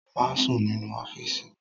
Má sùn nínú ọ́fíìsì!